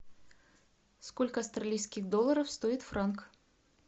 сколько австралийских долларов стоит франк